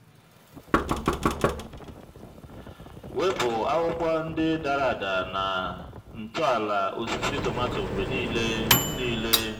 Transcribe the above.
wepụ akwụkwọ ndị dara ada na ntọala osisi tomato mgbe niile. niile.